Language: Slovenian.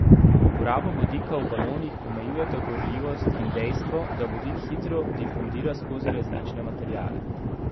Uporabo vodika v balonih omejujeta gorljivost in dejstvo, da vodik hitro difundira skozi različne materiale.